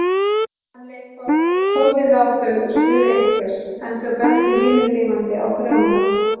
Hann leit forviða á þau og spurði einhvers, en þau bentu himinlifandi á Grjóna.